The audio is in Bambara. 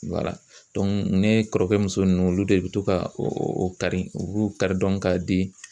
ne kɔrɔkɛ muso ninnu olu de be to ka o kari u b'o kari dɔrɔn ka di